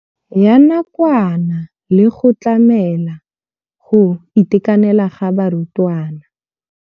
Ya nakwana le go tlamela go itekanela ga barutwana.